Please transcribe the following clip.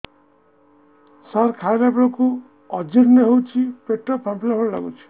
ସାର ଖାଇଲା ବେଳକୁ ଅଜିର୍ଣ ହେଉଛି ପେଟ ଫାମ୍ପିଲା ଭଳି ଲଗୁଛି